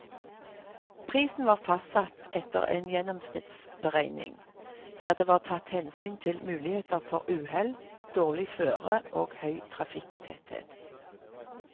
Prisen var fastsatt etter en gjennomsnittsberegning, der det var tatt hensyn til muligheter for uhell, dårlig føre og høy trafikktetthet.